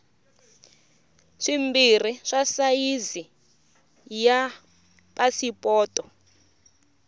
swimbirhi swa sayizi ya pasipoto